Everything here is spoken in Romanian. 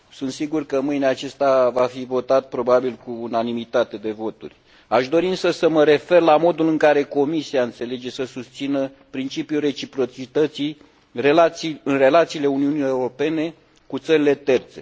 Sunt sigur că mâine acesta va fi votat probabil cu unanimitate de voturi. Aș dori însă să mă refer la modul în care Comisia înțelege să susțină principiul reciprocității în relațiile Uniunii Europene cu țările terțe.